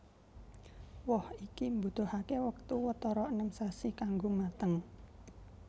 Woh iki mbutuhaké wektu watara enem sasi kanggo mateng